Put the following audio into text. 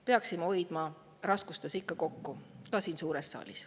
Peaksime hoidma raskuste ikka kokku, ka siin suures saalis.